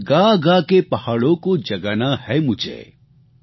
ઔર ગાગા કે પહાડોં કો જગાના હે મુઝે